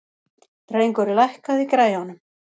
Drengur, lækkaðu í græjunum.